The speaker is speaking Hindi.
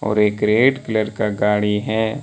और एक रेड कलर का गाड़ी है।